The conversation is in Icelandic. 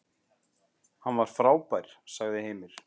Hann var frábær, sagði Heimir.